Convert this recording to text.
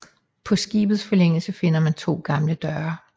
På skibets forlængelse finder man to gamle døre